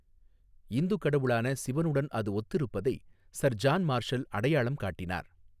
இந்து கடவுளான சிவனுடன் அது ஒத்திருப்பதை சர் ஜான் மார்ஷல் அடையாளம் காட்டினார்.